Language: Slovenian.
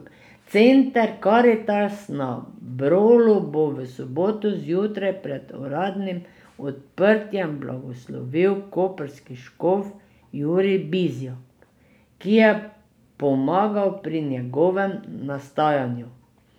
Center Karitas na Brolu bo v soboto zjutraj pred uradnim odprtjem blagoslovil koprski škof Jurij Bizjak, ki je pomagal pri njegovem nastajanju.